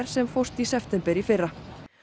sem fórst í september í fyrra